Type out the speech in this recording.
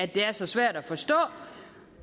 det er så svært at forstå